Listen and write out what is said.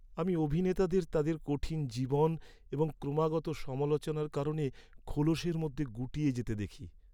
আমি অভিনেতাদের তাদের কঠিন জীবন এবং ক্রমাগত সমালোচনার কারণে খোলসের মধ্যে গুটিয়ে যেতে দেখি।